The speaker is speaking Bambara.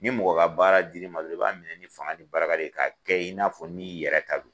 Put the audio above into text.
Ni mɔgɔ ka baara diri ma dɔrɔn i b'a minɛ ni fanga ni baraka ye ka kɛ i n'a fɔ n'i yɛrɛ ta don.